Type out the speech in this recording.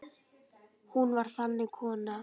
Hún var þannig kona.